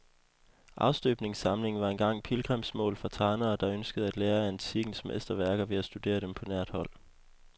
Afstøbningssamlingen var engang pilgrimsmål for tegnere, der ønskede at lære af antikkens mesterværker ved at studere dem på nært hold.